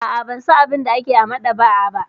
A'a, ban san abin da ake yi a maɗaba'a ba.